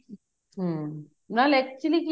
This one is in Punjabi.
ਹਮ ਨਾਲ actually ਕੀ